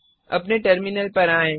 अपने टर्मिनल पर आएँ